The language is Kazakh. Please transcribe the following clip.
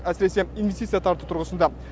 әсіресе инвестиция тарту тұрғысында